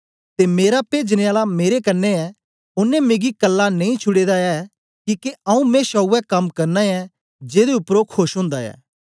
ते मेरा पेजन आला मेरे कन्ने ऐ ओनें मिगी कल्ला नेई छुडे दा ऐ किके आऊँ मेशा उवै कम्म करना ऐं जेदे उपर ओ खोश ओंदा ऐ